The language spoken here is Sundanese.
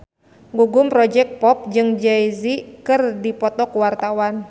Gugum Project Pop jeung Jay Z keur dipoto ku wartawan